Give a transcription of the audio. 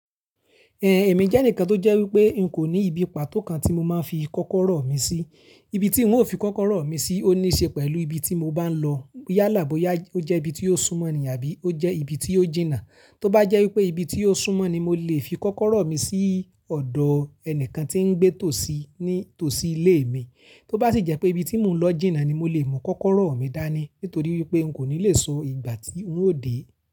Ẹ̀ẹ̀, èmi jẹ́ ẹnìkan tó jẹ́ wípé n kò ní ibi pàtó kan tí mo máa ń fi kọ́kọ́rọ́ mi sí. Ibi tí ń ó fi kọ́kọ́rọ́ mi sí ó níí ṣe pẹ̀lú ibi tí mo bá ń lọ yálàboyá. Ó jẹ́ ibi tí ó súnmọ́ ni àbí ó jẹ́ ibi tí ó jìnnà. Tóbá jẹ́ wípé ibi tí ó súnmọ́ ni mo lè fi kọ́kọ́rọ́ mi sí ọ̀dọ̀ ẹnìkan tí ń gbé tòsí ní tòsí ilé mi. Tóbá sì jẹ́ pé ibi tí mò ń lọ jìnnà ni mo lè mú kọ́kọ́rọ́ mi dání nítorí wípé n kò ní lè sọ ìgbà tí ń ó dé.